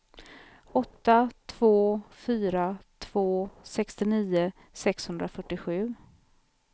åtta två fyra två sextionio sexhundrafyrtiosju